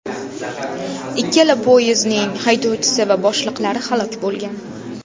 Ikkala poyezdning haydovchisi va boshliqlari halok bo‘lgan.